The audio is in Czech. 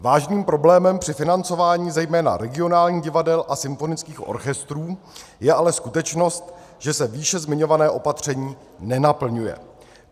Vážným problémem při financování zejména regionálních divadel a symfonických orchestrů je ale skutečnost, že se výše zmiňované opatření nenaplňuje.